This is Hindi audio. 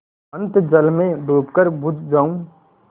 अनंत जल में डूबकर बुझ जाऊँ